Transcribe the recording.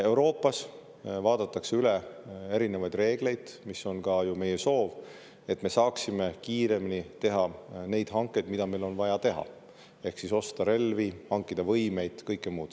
Euroopas vaadatakse üle erinevaid reegleid, mis on ka ju meie soov, et me saaksime kiiremini teha neid hankeid, mida meil on vaja teha, ehk siis osta relvi, hankida võimeid ja kõike muud.